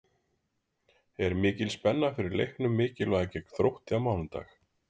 Er mikil spenna fyrir leiknum mikilvæga gegn Þrótti á mánudag?